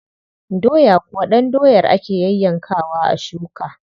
Doya kuwa ɗan doyar ake yayyankawa a shuka.